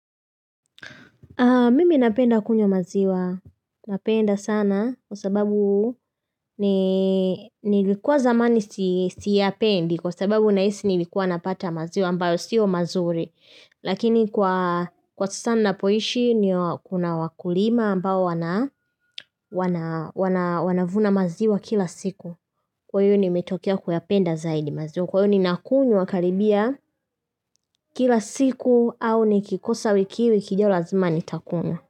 Mimi napenda kunywa maziwa. Napenda sana kwa sababu nilikuwa zamani siyapendi kwa sababu nahisi nilikuwa napata maziwa ambayo siyo mazuri. Lakini kwa sasa ninapoishi kuna wakulima ambao wanavuna maziwa kila siku. Kwa hiyo nimetokea kuyapenda zaidi maziwa. Kwa hiyo ninakunywa karibia kila siku au nikikosa wiki hii wiki ijayo lazima nitakunywa.